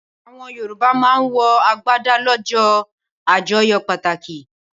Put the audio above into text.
Awòn yorùbá mà n wò àgbádá lòjò ájòyò pàtákí